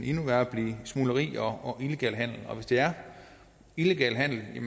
endnu værre til smugleri og illegal handel hvis det er illegal handel er